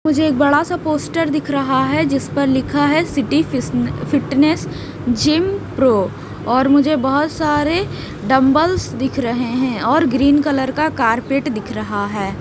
मुझे एक बड़ा सा पोस्टर दिख रहा है जिस पर लिखा है सिटी फिटनेस जीम प्रो और मुझे बहुत सारे डंबल्स दिख रहे हैं और ग्रीन कलर का कारपेट दिख रहा है।